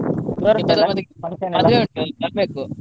ಹ ಇಪ್ಪತೊಂಬತ್ತಕ್ಕೆ ಮದ್ವೆ ಉಂಟು ಬರ್ಬೇಕು.